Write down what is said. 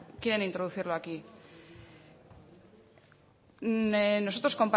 quieren introducirlo aquí nosotros